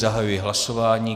Zahajuji hlasování.